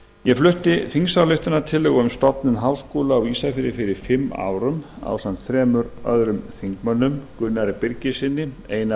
ég flutti þingsályktunartillögu um stofnun háskóla á ísafirði fyrir fimm árum ásamt þremur öðrum þingmönnum gunnari birgissyni einari